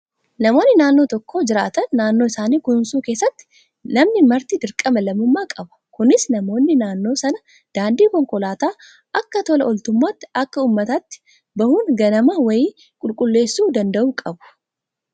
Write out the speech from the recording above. Namoonni naannoo tokko jiraatan naannoo isaanii kunuunsuu keessatti namni marti dirqama lammummaa qaba. Kunis namoonni naannoo sanaa daandii konkolaataa akka tola ooltummaatti akka uummataatti bahuun ganama wayii qulqulleessuu danda'uu qabu.